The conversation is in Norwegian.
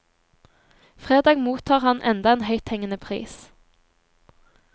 Fredag mottar han enda en høythengende pris.